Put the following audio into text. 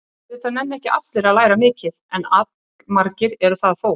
Auðvitað nenna ekki allir að læra mikið, en allmargir eru það þó.